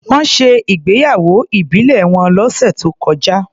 Wọ́n ṣe ìgbéyàwó ìbílẹ̀ wọn lọ́sẹ̀ tó kọjá.